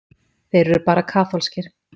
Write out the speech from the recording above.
Þeir eru bara kaþólskir.